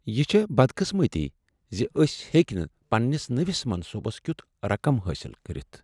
یہ چھےٚ بدقسمتی زِ أسۍ ہیکۍ نہٕ پننس نٔوس منصوبس کِیُت رقم حٲصل کٔرتھ۔